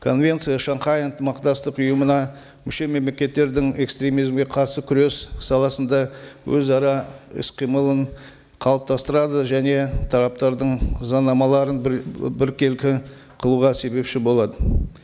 конвенция шанхай ынтымақтастық ұйымына мүше мемлекеттердің экстремизмге қарсы күрес саласында өзара іс қимылын қалыптастырады және тараптардың заңнамаларын біркелкі қылуға себепші болады